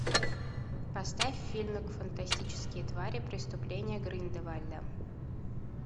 поставь фильм фантастические твари преступление гриндевальда